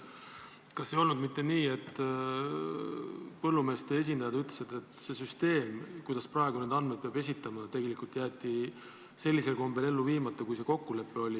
Kas ei olnud mitte nii, et põllumeeste esindajad ütlesid, et see süsteem, mis praegu on, kuidas peab andmeid esitama, jäeti sellisel kombel ellu viimata, kui see kokkulepe oli?